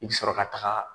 I bi sɔrɔ ka taga